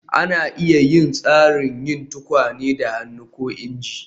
Ana iya yin tsarin yin tukwane da hannu ko inji